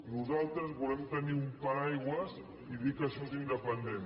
nosaltres volem tenir un paraigua i dir que això és independent